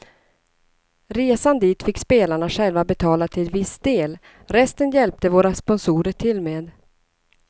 Resan dit fick spelarna själva betala till viss del, resten hjälpte våra sponsorer till med.